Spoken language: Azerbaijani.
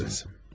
İçə bilirsiniz.